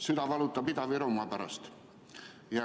Süda valutab Ida-Virumaa pärast.